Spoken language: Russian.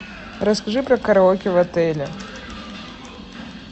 расскажи про караоке в отеле